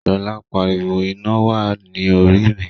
Shola pariwo, "Ina wa ni Orí mi!"